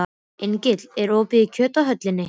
Engill, er opið í Kjöthöllinni?